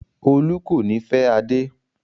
Olú kò ní fẹ́ Adé.